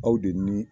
Aw de ni